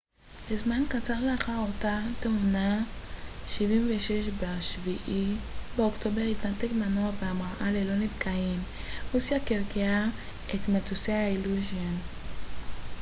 ב-7 באוקטובר התנתק מנוע בהמראה ללא נפגעים רוסיה קרקעה את מטוסי האיליושין il-76 לזמן קצר לאחר אותה תאונה